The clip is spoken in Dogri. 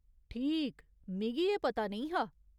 ठीक, मिगी एह् पता नेईं हा।